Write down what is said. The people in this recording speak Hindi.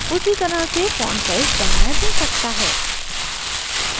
उसी तरह से font size बढ़ाया जा सकता है